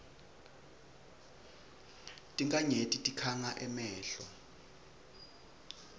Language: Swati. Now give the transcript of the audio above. tinkhanyeti tikhanga emehlo